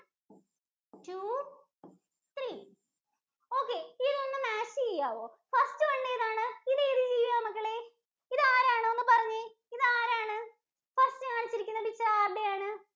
first one ഏതാണ്? ഇത് ഏത് ജീവിയാ മക്കളെ, ഇതാരാണ്? ഒന്നു പറഞ്ഞേ, ഇതാരാണ്? first കാണിച്ചിരിക്കുന്ന picture ആരുടെയാണ്?